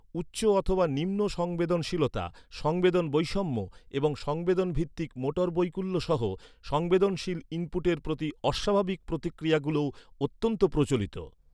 উচ্চ অথবা নিম্ন সংবেদনশীলতা, সংবেদন বৈষম্য, এবং সংবেদন ভিত্তিক মোটর বৈকল্য সহ সংবেদনশীল ইনপুটের প্রতি অস্বাভাবিক প্রতিক্রিয়াগুলিও অত্যন্ত প্রচলিত।